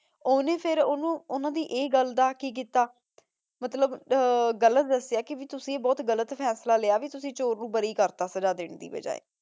ਓਨੇ ਫੇਰ ਓਨੁ ਓਨਾਂ ਦੀ ਇਹ ਗਲ ਦਾ ਕੀ ਕੀਤਾ ਮਤਲਬ ਆਹ ਗਲ ਦਸ੍ਯ ਕੀ ਤੁਸੀਂ ਬੋਹਤ ਗਲਤ ਫੈਸਲਾ ਲਾਯਾ ਕੀ ਤੁਸੀਂ ਚੋਰ ਨੂ ਬਾਰੀ ਕਰਤਾ ਸਜ਼ਾ ਦਿਨ ਦੀ ਬਾਜੀ